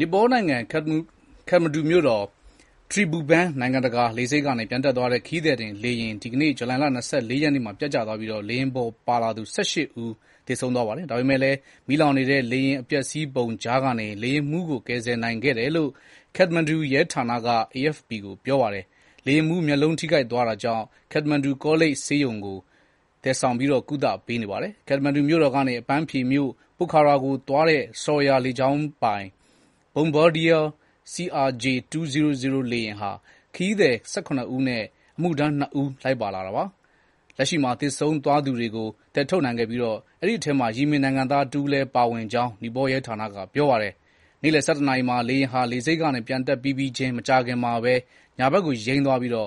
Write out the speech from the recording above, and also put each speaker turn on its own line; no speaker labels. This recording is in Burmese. နီပေါနိုင်ငံ ခတ္တမန္ဒူ မြို့တော် Tribhuvan နိုင်ငံတကာ လေဆိပ်ကနေ ပျံတက်သွားတဲ့ ခရီးသည်တင် လေယာဉ် ဒီကနေ့ ဇူလိုင်လ ၂၄ ရက်နေ့မှာ ပျက်ကျသွားပြီး လေယာဉ်ပေါ်ပါသူ ၁၈ ဦး သေဆုံးသွားပါတယ်။ ဒါပေမယ့်လည်း မီးလောင်နေတဲ့ လေယာဉ် အပျက်အစီးပုံကြားကနေ လေယာဉ်မှူးကို ကယ်ဆယ်နိုင်ခဲ့တယ်လို့ ခတ္တမန္ဒူရဲဌနက AFP ကို ပြောပါတယ်။ လေယာဉ်မှူး မျက်လုံးထိခိုက်သွားတာကြောင့် ခတ္တမန္ဒူ ကောလိပ်ဆေးရုံကို သယ်ဆောင်ပြီး ကုသပေးနေပါတယ်။ ခတ္တမန္ဒူကနေ အပန်းဖြေမြို့ ပိုခါရာကိုသွားတဲ့ Saurya လေကြောင်းပိုင် Bombardier CRJ 200 လေယာဉ်မှာ ခရီးသည် ၁၇ ဦးနဲ့ အမှုထမ်း ၂ ဦး လိုက်ပါလာတာပါ။ လက်ရှိမှာ သေဆုံးသွားသူတွေကို သယ်ထုတ်နိုင်ခဲ့ပြီး အဲဒီထဲမှာ ယီမင် နိုင်ငံသား တဦးလည်း ပါဝင်ကြောင်း နီပေါ ရဲဌာနက ပြောပါတယ်။ နေ့လည် ၁၁ နာရီမှာ လေယာဉ်ဟာ လေဆိပ်ကနေ ပျံတက်ပြီးပြီးချင်း မကြာခင်မှာပဲ ညာဘက်ကို ယိမ်းသွားပြီး လေ